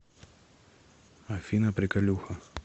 афина приколюха